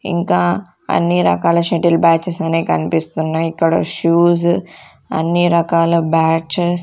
ఇంకా అన్ని రకాల షటిల్ బ్యాచెస్ అనే కన్పిస్తున్నాయ్ ఇక్కడ షూస్ అన్ని రకాల బ్యాట్చస్ --